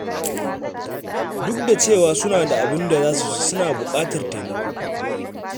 Duk da cewa suna da abin da za su ci, suna buƙatar taimako.